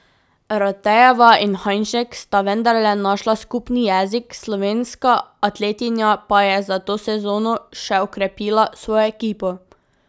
Ratejeva in Hajnšek sta vendarle našla skupni jezik, slovenska atletinja pa je za to sezono še okrepila svojo ekipo.